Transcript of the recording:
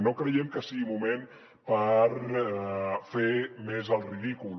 no creiem que sigui moment per fer més el ridícul